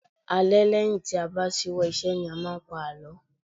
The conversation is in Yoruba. Alẹ́ lẹ́yìn tí a bá ṣíwọ́ ìṣe ni a máa ń pa àlọ́